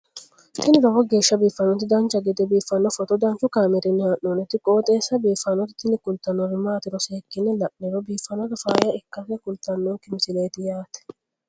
tini lowo geeshsha biiffannoti dancha gede biiffanno footo danchu kaameerinni haa'noonniti qooxeessa biiffannoti tini kultannori maatiro seekkine la'niro biiffannota faayya ikkase kultannoke misileeti yaate